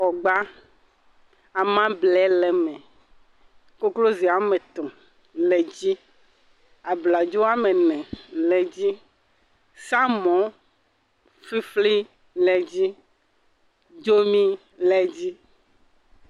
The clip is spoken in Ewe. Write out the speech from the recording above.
Xɔ gbaa. Amable le eme. Kokozia ame etɔ̃ le dzi. Abladzo woa me ene le dzi. Samɔwofifli le dzi. Dzomi le dzi